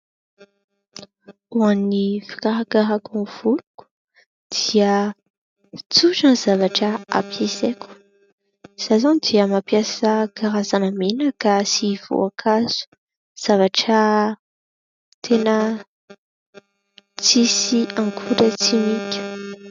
Ho an'ny fikarakarako ny voloko dia tsotra ny zavatra ampiasaiko. izaho izao dia mampiasa karazana menaka sy voankazo zavatra tena tsy misy akora-tsimika.